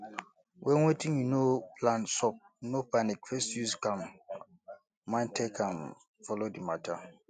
when wetin you no plan sup no panic first use calm um mind take um follow di matter